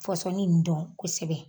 Fɔsɔni in dɔn kosɛbɛ.